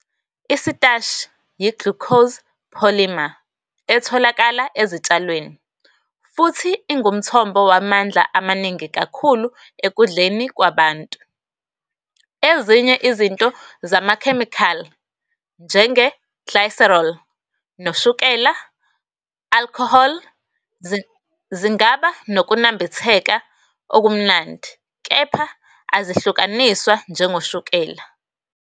Isitashi yi-glucose polymer etholakala ezitshalweni, futhi ingumthombo wamandla amaningi kakhulu ekudleni kwabantu. Ezinye izinto zamakhemikhali, njenge-glycerol noshukela alcohol, zingaba nokunambitheka okumnandi, kepha azihlukaniswa njengoshukela.